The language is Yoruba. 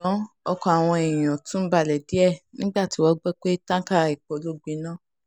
um ṣùgbọ́n ọkàn àwọn èèyàn èèyàn um tún balẹ̀ díẹ̀ nígbà tí wọ́n gbọ́ pé táǹkà epo ló gbiná